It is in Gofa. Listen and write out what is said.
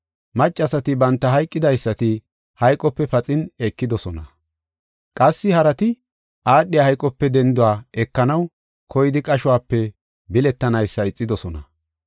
Maccasati banta hayqidaysata hayqope paxin ekidosona. Qassi harati aadhiya hayqope dendo ekanaw koyidi qashope biletanaysa ixidosona.